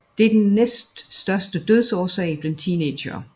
Det er den næststørste dødsårsag blandt teenagere